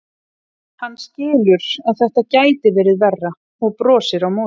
Hann skilur að þetta gæti verið verra og brosir á móti.